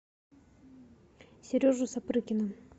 сережу сапрыкина